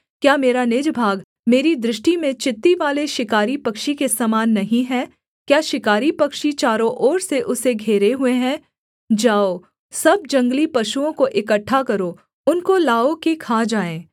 क्या मेरा निज भाग मेरी दृष्टि में चित्तीवाले शिकारी पक्षी के समान नहीं है क्या शिकारी पक्षी चारों ओर से उसे घेरे हुए हैं जाओ सब जंगली पशुओं को इकट्ठा करो उनको लाओ कि खा जाएँ